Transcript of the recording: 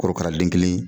Korokara den kelen